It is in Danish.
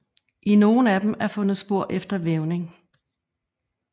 I nogle af dem er fundet spor efter vævning